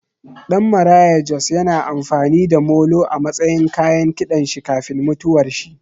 Ɗan Maraya Jos ya na amfani da molo a matsayin kayan kiɗan shi kafin mutuwar shi